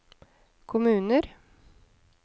kommuner